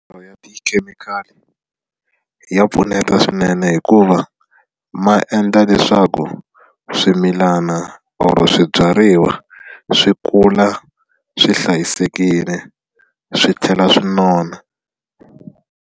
Manyoro ya tikhemikhali ya pfuneta swinene hikuva ma endla leswaku swimilana or swibyariwa swi kula swi hlayisekile swi tlhela swi nona.